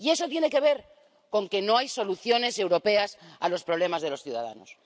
Y eso tiene que ver con que no hay soluciones europeas a los problemas de los ciudadanos.